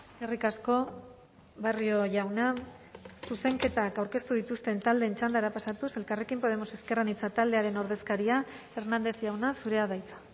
eskerrik asko barrio jauna zuzenketak aurkeztu dituzten taldeen txandara pasatuz elkarrekin podemos ezker anitza taldearen ordezkaria hernández jauna zurea da hitza